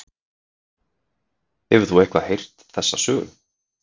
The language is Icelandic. Hefur þú eitthvað heyrt þessa sögu?